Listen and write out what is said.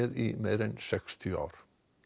í meira en sextíu ár